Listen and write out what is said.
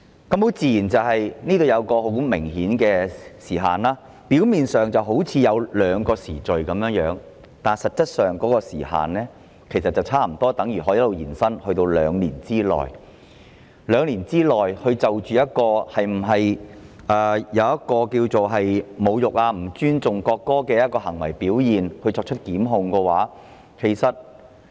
"當中有一個很明顯的時限，表面上，好像有兩個限期，但實際上，有關時限差不多等於可以延伸至2年，即可以在2年內就一項可能構成侮辱及不尊重國歌的行為表現而作出檢控。